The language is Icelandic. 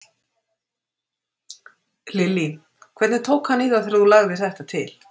Lillý: Hvernig tók hann í það þegar þú lagðir þetta til?